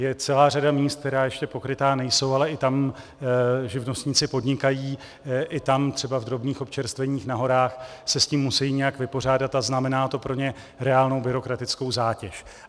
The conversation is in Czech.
Je celá řada míst, která ještě pokrytá nejsou, ale i tam živnostníci podnikají, i tam třeba v drobných občerstveních na horách se s tím musejí nějak vypořádat a znamená to pro ně reálnou byrokratickou zátěž.